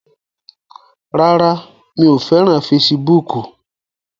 Rárá, mi ò fẹ́ràn fesibúùkù